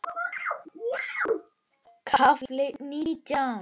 KAFLI NÍTJÁN